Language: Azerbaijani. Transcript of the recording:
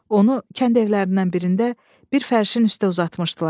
Onu kənd evlərindən birində bir fərşin üstə uzatmışdılar.